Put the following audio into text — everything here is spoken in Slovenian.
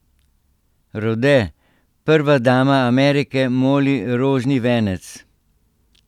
Rode: "Prva dama Amerike moli rožni venec.